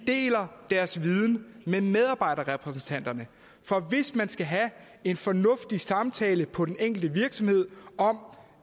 deler deres viden med medarbejderrepræsentanterne for hvis man skal have en fornuftig samtale på den enkelte virksomhed om